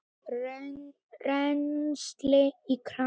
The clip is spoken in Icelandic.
Rennsli í krana!